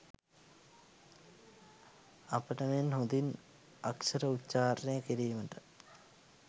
අපට මෙන් හොඳින් අක්ෂර උච්චාරණය කිරීමට